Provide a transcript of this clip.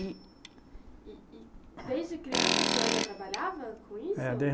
E. E e desde criança o senhor já trabalhava com isso? É